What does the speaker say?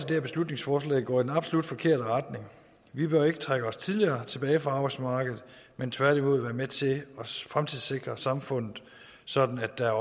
her beslutningsforslag går i den absolut forkerte retning vi bør ikke trække os tidligere tilbage fra arbejdsmarkedet men tværtimod være med til at fremtidssikre samfundet sådan at der